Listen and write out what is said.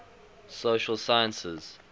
social sciences